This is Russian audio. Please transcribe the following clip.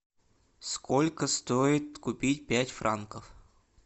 сколько стоит купить пять франков